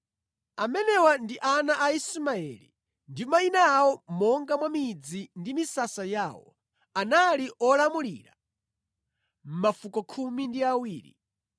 Amenewa ndi ana a Ismaeli ndi mayina awo monga mwa midzi ndi misasa yawo. Anali olamulira mafuko khumi ndi awiri.